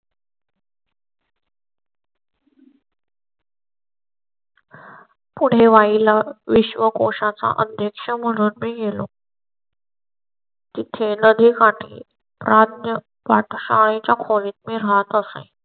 पुढे वाई ला विश्वकोशा चा अध्यक्ष म्हणून मी गेलो. तिथे नदीकाठी खोलीत राहात आहे.